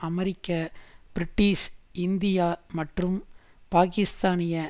அமெரிக்க British India மற்றும் பாகிஸ்தானிய